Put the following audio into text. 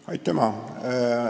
Aitüma!